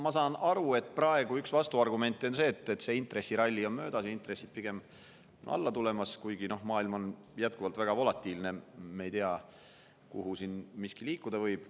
Ma saan aru, et praegu on üks vastuargumente see, et intressiralli on möödas, intressid on pigem alla tulemas, kuigi maailm on jätkuvalt väga volatiilne, me ei tea, kuhu siin miski liikuda võib.